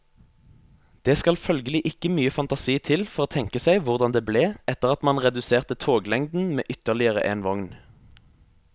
Det skal følgelig ikke mye fantasi til for å tenke seg hvordan det ble etter at man reduserte toglengden med ytterligere en vogn.